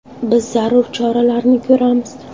Biz zarur choralarni ko‘ramiz.